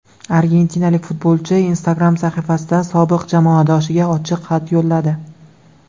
Argentinalik futbolchi Instagram sahifasida sobiq jamoadoshiga ochiq xat yo‘lladi .